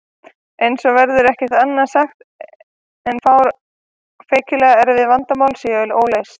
Eins og er verður ekki annað sagt en að feikilega erfið vandamál séu óleyst.